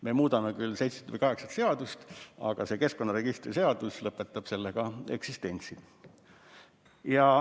Me muudame küll seitset või kaheksat seadust, aga see keskkonnaregistri seadus lõpetab sellega oma eksistentsi.